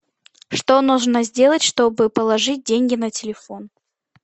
что нужно сделать чтобы положить деньги на телефон